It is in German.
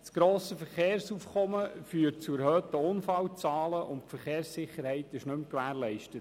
Das grosse Verkehrsaufkommen führt zu erhöhten Unfallzahlen, und die Verkehrssicherheit ist nicht mehr gewährleistet.